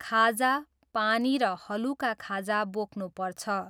खाजा, पानी र हलुका खाजा बोक्नुपर्छ।